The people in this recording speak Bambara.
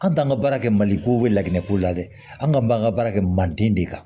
An t'an ka baara kɛ maliko bɛ lagɛn ko la dɛ an ka b'an ka baara kɛ manden de kan